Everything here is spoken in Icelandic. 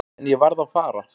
En ég varð að fara.